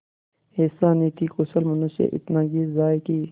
ऐसा नीतिकुशल मनुष्य इतना गिर जाए कि